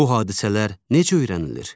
Bu hadisələr necə öyrənilir?